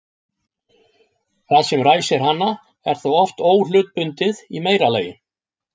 Það sem ræsir hana er þá oft óhlutbundið í meira lagi.